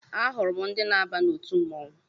Ahụrụ m ndị na-aba n'otu mmọnwụ